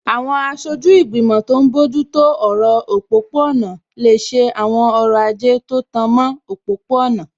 Àwọn aṣojú ìgbìmọ̀ tó n bójú tó ọ̀rọ̀ òpópó-ọ̀nà lè ṣe àwọn ọrọ̀ ajé tó tan mọ́ òpópó-ọ̀nà